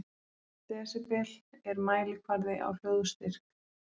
Desibel er mælikvarði á hljóðstyrk.